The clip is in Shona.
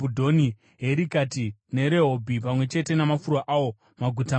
Herikati neRehobhi, pamwe chete namafuro awo, maguta mana;